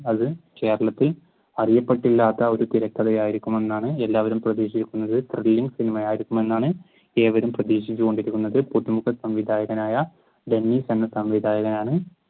അത് കേരളത്തിൽ അറിയപ്പെട്ടില്ലാത്ത ഒരു തിരക്കഥയായിരിക്കുമെന്നാണ് എല്ലാവരും പ്രതീക്ഷിക്കുന്നത് സിനിമ ആയിരിക്കും എന്നാണ് ഏവരും പ്രതീക്ഷിച്ചുകൊണ്ടിരിക്കുന്നത്. പുതുമുഖ സംവിധായകനായ രവി എന്ന സംവിധായകാനാണ്